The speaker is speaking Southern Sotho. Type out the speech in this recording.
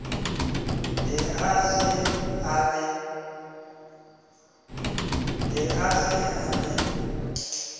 ne a se a le